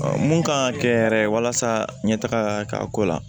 mun kan ka kɛ yɛrɛ walasa ɲɛtaga ka k'a ko la